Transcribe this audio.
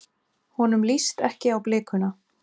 Honum líst ekki á blikuna.